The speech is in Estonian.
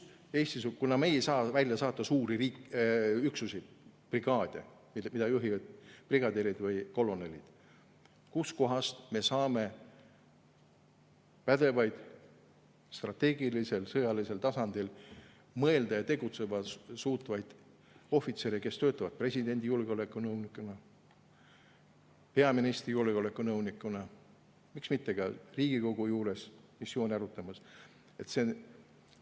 Kuna me ei saa välja saata suuri üksusi, brigaade, mida juhivad brigadirid või kolonelid, siis kust me saame pädevaid, strateegilisel, sõjalisel tasandil mõelda ja tegutseda suutvaid ohvitsere, kes töötavad presidendi julgeolekunõunikuna, peaministri julgeolekunõunikuna, miks mitte ka Riigikogu juures, et missioone arutada?